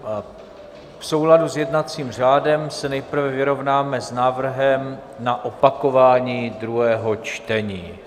V souladu s jednacím řádem se nejprve vyrovnáme s návrhem na opakování druhého čtení.